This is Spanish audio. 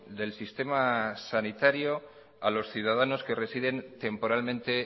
del sistema sanitario a los ciudadanos que residen temporalmente